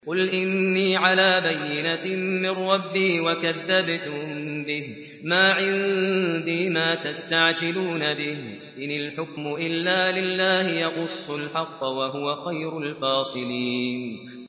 قُلْ إِنِّي عَلَىٰ بَيِّنَةٍ مِّن رَّبِّي وَكَذَّبْتُم بِهِ ۚ مَا عِندِي مَا تَسْتَعْجِلُونَ بِهِ ۚ إِنِ الْحُكْمُ إِلَّا لِلَّهِ ۖ يَقُصُّ الْحَقَّ ۖ وَهُوَ خَيْرُ الْفَاصِلِينَ